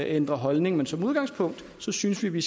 ændrer holdning men som udgangspunkt synes vi